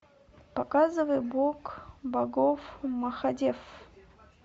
показывай бог богов махадев